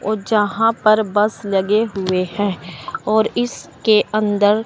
और यहां पर बस लगे हुए हैं और इसके अंदर--